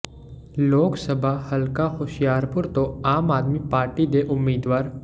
ਲੋਕ ਸਭਾ ਹਲਕਾ ਹੁਸ਼ਿਆਰਪੁਰ ਤੋਂ ਆਮ ਆਦਮੀ ਪਾਰਟੀ ਦੇ ਉਮੀਦਵਾਰ ਡਾ